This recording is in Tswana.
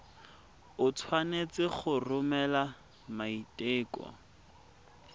o tshwanetse go romela maiteko